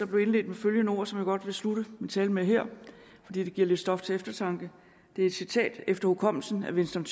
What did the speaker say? blev indledt med følgende ord som jeg godt vil slutte min tale med her fordi det giver lidt stof til eftertanke det er et citat efter hukommelsen af winston